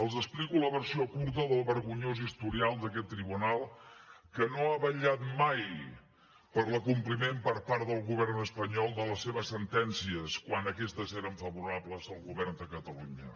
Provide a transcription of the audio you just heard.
els explico la versió curta del vergonyós historial d’aquest tribunal que no ha vetllat mai per l’acompliment per part del govern espanyol de les seves sentències quan aquestes eren favorables al govern de catalunya